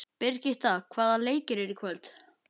Birgitta, hvaða leikir eru í kvöld?